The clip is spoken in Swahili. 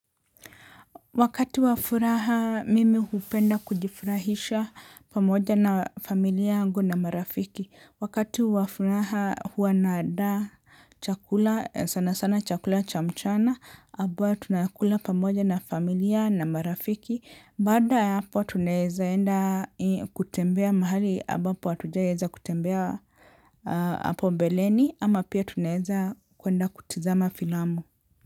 Wakati wa furaha, mimi hupenda kujifurahisha pamoja na familia yangu na marafiki. Wakati wa furaha, huwa naandaa chakula, sana sana chakula cha mchana, ambayo tunakula pamoja na familia na marafiki. Baada ya hapo, tunaweza enda kutembea mahali, ambapo hatujaiweza kutembea hapo mbeleni, ama pia tunaweza kwenda kutizama filamu.